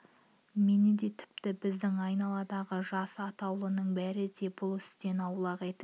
мені де тіпті біздің айналадағы жас атаулының бәрін де бұл істен аулақ етіңіз